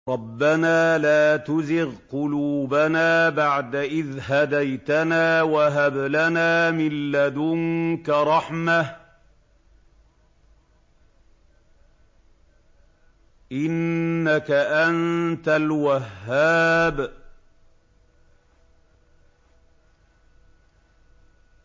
رَبَّنَا لَا تُزِغْ قُلُوبَنَا بَعْدَ إِذْ هَدَيْتَنَا وَهَبْ لَنَا مِن لَّدُنكَ رَحْمَةً ۚ إِنَّكَ أَنتَ الْوَهَّابُ